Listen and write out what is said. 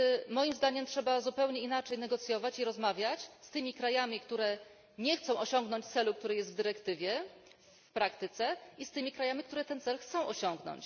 Moim zdaniem trzeba zupełnie inaczej negocjować i rozmawiać w praktyce z tymi krajami, które nie chcą osiągnąć celu, który jest w dyrektywie, i z tymi krajami, które ten cel chcą osiągnąć.